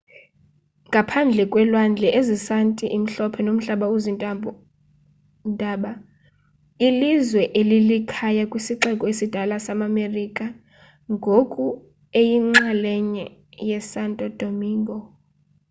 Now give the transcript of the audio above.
ngaphandle kwelwandle ezisanti imhlophe nomhlaba ozintaba ilizwe eli lilikhaya kwisixeko esidala samamerika ngoku eyinxalenye yesanto domingo